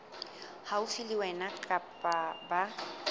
haufi le wena kapa ba